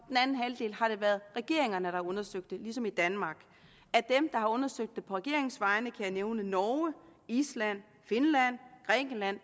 den anden halvdel har det været regeringerne der har undersøgt det ligesom i danmark af dem der har undersøgt det på regeringens vegne kan jeg nævne norge island finland grækenland